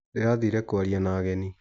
Ndĩrathire kwaria na ageni